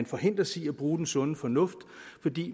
forhindres i at bruge den sunde fornuft fordi